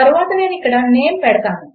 తర్వాత నేను ఇక్కడ నేమ్ పెడతాను